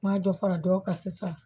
N ma dɔ fara dɔw ka sisan